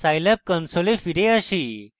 scilab console ফিরে আসি